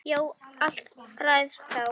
Já, allt ræðst þá.